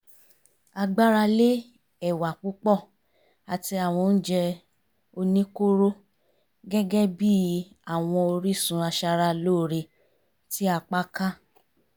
à gbára lé ẹ̀wà púpọ̀ àti àwọn oúnjẹ oníkóró gẹ́gẹ́ bí i àwọn orísun aṣara lóore tí apá ká